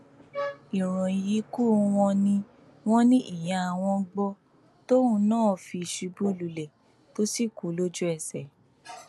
ìròyìn ikú wọn ni wọn ní ìyá wọn gbọ tóun náà fi ṣubú lulẹ tó sì kú lójú ẹsẹ